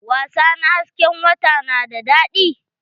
Wasa na hasken wata na da daɗi?